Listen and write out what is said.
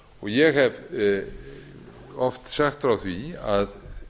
ég hef oft sagt frá því að